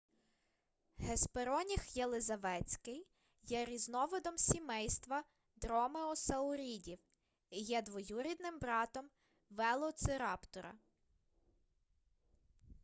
геспероніх єлизаветський є різновидом сімейства дромеосаурідів і є двоюрідним братом велоцираптора